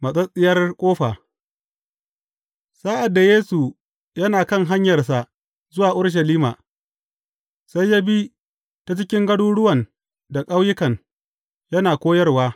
Matsattsiyar ƙofa Sa’ad da Yesu yana kan hanyarsa zuwa Urushalima, sai ya bi ta cikin garuruwan da ƙauyukan, yana koyarwa.